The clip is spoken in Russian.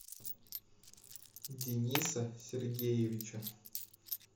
дениса сергеевича